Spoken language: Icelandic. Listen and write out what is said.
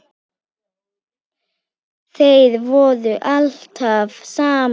Þeir voru alltaf saman.